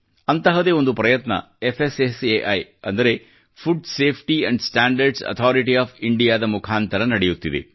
ಅಂತಹದೇ ಒಂದು ಪ್ರಯತ್ನ ಫ್ಸ್ಸೈ ಅಂದರೆ food safety and standard authority of India ದ ಮುಖಾಂತರ ನಡೆಯುತ್ತಿದೆ